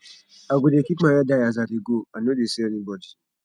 i go dey keep my head high as i dey go i no dey see anybodi